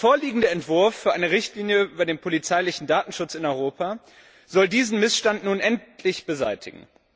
Der vorliegende Entwurf für eine Richtlinie über den polizeilichen Datenschutz in Europa soll diesen Missstand nun endlich beseitigen.